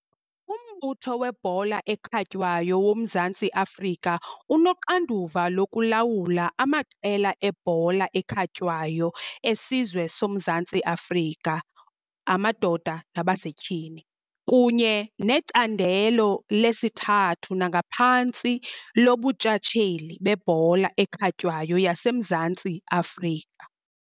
UMbutho weBhola eKhatywayo woMzantsi Afrika unoxanduva lokulawula amaqela ebhola ekhatywayo esizwe soMzantsi Afrika, amadoda nabasetyhini, kunye necandelo lesithathu nangaphantsi loBuntshatsheli beBhola ekhatywayo yaseMzantsi Afrika.